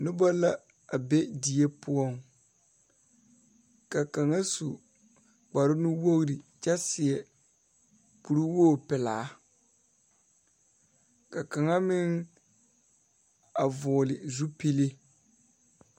Noba la a be fie poɔŋ ka kaŋa su kpare nu wogre kyɛ seɛ kuriwoge pilaa ka kaŋa meŋ a vɔgle zupile.